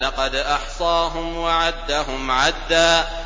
لَّقَدْ أَحْصَاهُمْ وَعَدَّهُمْ عَدًّا